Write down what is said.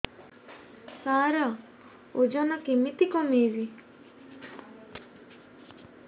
ସାର ଓଜନ କେମିତି କମେଇବି